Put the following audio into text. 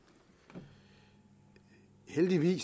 tak til